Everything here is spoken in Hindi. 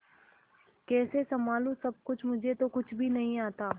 कैसे संभालू सब कुछ मुझे तो कुछ भी नहीं आता